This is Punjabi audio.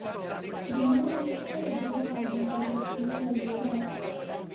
ਦੁਨੀਆਂ ਦੇ ਸਭ ਤੋਂ ਵੱਡੇ ਜਹਾਜ਼ ਨੇ ਭਰੀ ਆਪਣੀ ਪਹਿਲੀ ਉਡਾਣ